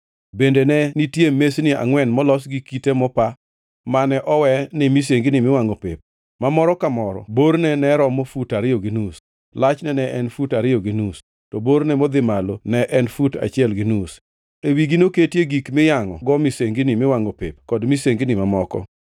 Bende ne nitie mesni angʼwen molos gi kite mopa mane owe ni misengini miwangʼo pep, ma moro ka moro borne ne romo fut ariyo gi nus, lachne ne en fut ariyo gi nus, to borne modhi malo ne en fut achiel gi nus. E wigi noketie gik miyangʼogo misengini miwangʼo pep kod misengini mamoko.